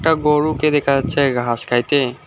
গরুকে দেখা যাচ্ছে ঘাস খাইতে।